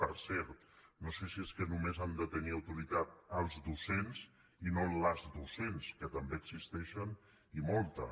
per cert no sé si és que només han de tenir autoritat els docents i no les docents que també existeixen i moltes